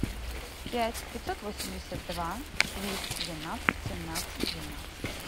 пять пятьсот восемьдесят два двести двенадцать семнадцать двенадцать